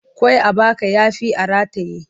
Ƙwai a baka ya fi a rataye.